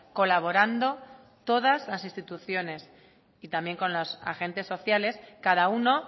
colaborando todas las instituciones y también con los agentes sociales cada uno